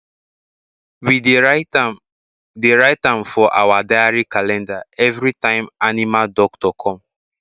we dey write am dey write am for our diary calendar any time animal doctor come